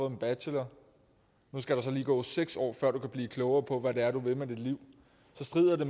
en bachelor skal der lige gå seks år før du kan blive klogere på hvad det er du vil med dit liv så strider det